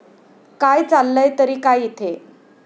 काय, चाललंय तरी काय इथे?